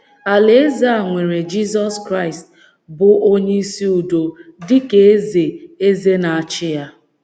Alaeze a nwere Jizọs Kraịst, bụ́ Onyeisi Udo, dị ka Eze Eze na - achị ya.